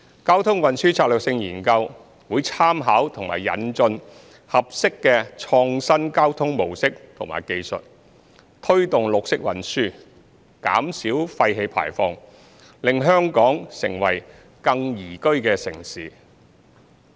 《交通運輸策略性研究》會參考和引進合適的創新交通模式和技術，推動綠色運輸，減少廢氣排放，令香港成為更宜居城市。